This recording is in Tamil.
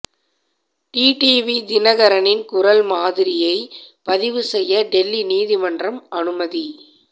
டிடிவி தினகரனின் குரல் மாதிரியை பதிவு செய்ய டெல்லி நீதிமன்றம் அனுமதி